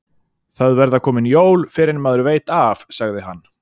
Það verða komin jól fyrr en maður veit af, sagði hann.